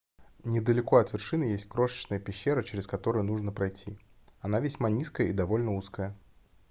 недалеко от вершины есть крошечная пещера через которую нужно пройти она весьма низкая и довольно узкая